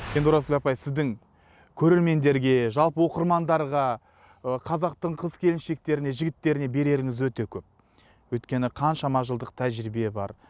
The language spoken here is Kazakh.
енді оразгүл апай сіздің көрермендерге жалпы оқырмандарға ы қазақтың қыз келіншектеріне жігіттеріне береріңіз өте көп өйткені қаншама жылдық тәжірибе бар